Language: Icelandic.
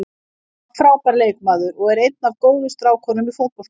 Hann var frábær leikmaður og er einn af góðu strákunum í fótboltanum.